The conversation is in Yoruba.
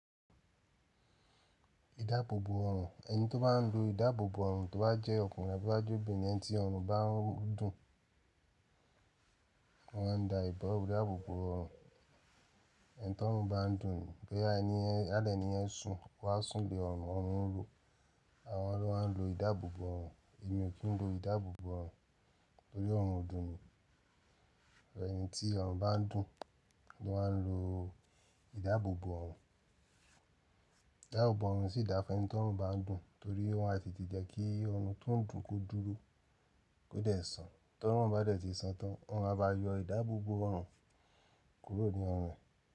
Idáàbòbò ọrùn, ẹni tó bá ń lo idáàbòbò ọrùn tó bá jẹ́ ọkùnrin àbí to bá jẹ́ obìnrin en tí ọrùn bá ń dùn, wọ́n má ń da ìda idaabòbò ọrùn ẹn tí ọrùn bá ń dùn ni. Bóyá ẹni àlẹ́ ni yẹn sùn wá sùn lé ọrùn, ọrùn ń ro. Àwọn ló máa ń lo idáàbòbò ọrùn. Èmi ò kí ń lo idáàbòbò ọrùn torí ọrùn o dùn mi. Ẹni tí ọrùn bá ń dùn ni wọ́n ń lo idáàbòbò ọrùn. Idáàbòbò ọrùn sì dáa fún ẹni tí ọrùn bá ń dùn torí wọ́n a ti tì jẹ́ kí ọrùn tó ń dùn kó dúró kó dẹ̀ san. T'ọrùn bá dẹ̀ ti san tán, wọ́n má ba yọ idáàbòbò ọrùn kúrò ní ọrùn rẹ̀